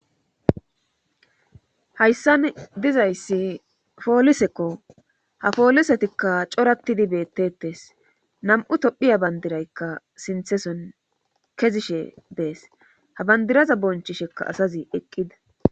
Hayssan dizayssi poolisekko ha poolisetikka corattidi beettetes nam'u tophiya bandiraykka sintheson kezishe dees ha bandiraza bonchishekka asazi eqqida.